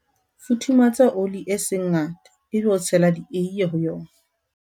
futhumatsa oli e seng ngata ebe o tshela dieie ho yona